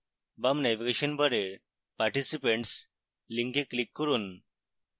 bar navigation bar participants link click করুন